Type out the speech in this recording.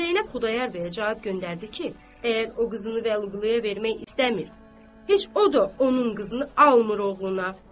Zeynəb Xudayar bəyə cavab göndərdi ki, əgər o qızını Vəliquluya vermək istəmir, heç o da onun qızını almır oğluna.